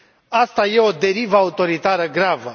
Aceasta e o derivă autoritară gravă.